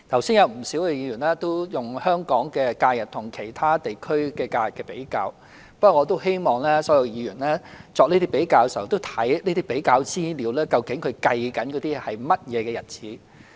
不少議員剛才都用香港的假日與其他地區的假日比較，不過我希望所有議員作這些比較的時候，看看有關資料究竟計算的是甚麼日子。